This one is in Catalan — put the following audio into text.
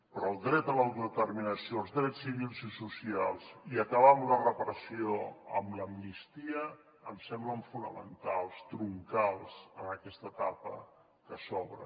però el dret a l’autodeterminació els drets civils i socials i acabar amb la repressió amb l’amnistia em semblen fonamentals troncals en aquesta etapa que s’obre